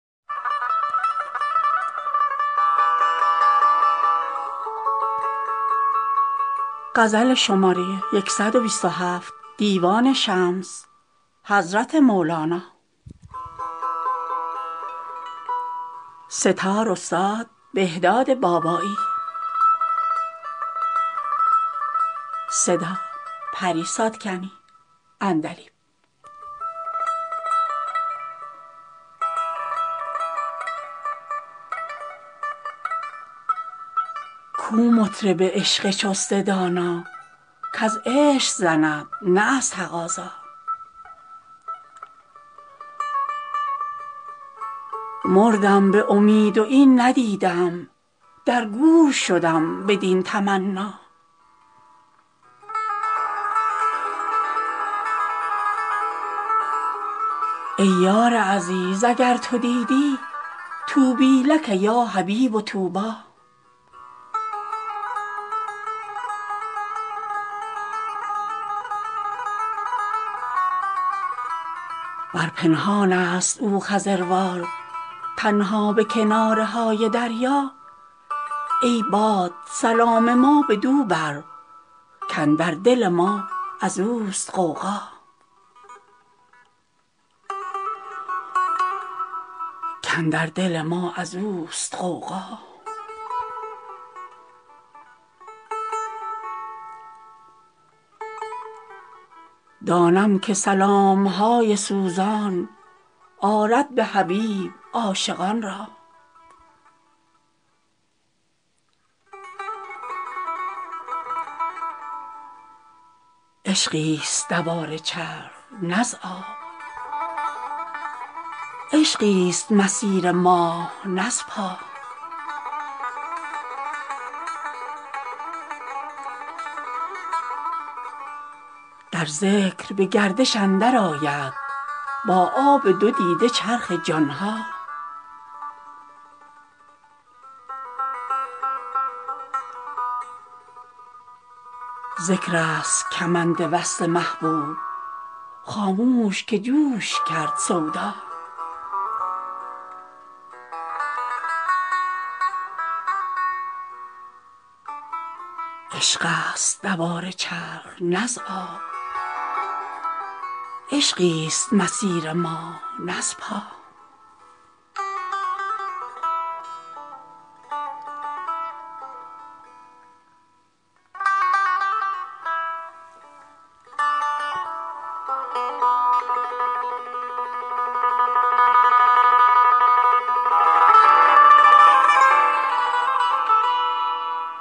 کو مطرب عشق چست دانا کز عشق زند نه از تقاضا مردم به امید و این ندیدم در گور شدم بدین تمنا ای یار عزیز اگر تو دیدی طوبی لک یا حبیب طوبی ور پنهانست او خضروار تنها به کناره های دریا ای باد سلام ما بدو بر کاندر دل ما از اوست غوغا دانم که سلام های سوزان آرد به حبیب عاشقان را عشقیست دوار چرخ نه از آب عشقیست مسیر ماه نه از پا در ذکر به گردش اندرآید با آب دو دیده چرخ جان ها ذکرست کمند وصل محبوب خاموش که جوش کرد سودا